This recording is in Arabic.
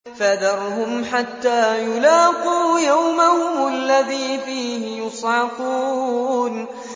فَذَرْهُمْ حَتَّىٰ يُلَاقُوا يَوْمَهُمُ الَّذِي فِيهِ يُصْعَقُونَ